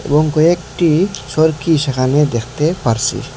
এবং কয়েকটি চোরকি সেখানে দেখতে পারসি।